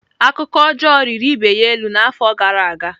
Akụkọ ọjọọ riri ibe ya elu n'afọ gara aga.